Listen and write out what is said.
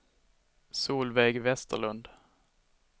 Solveig Westerlund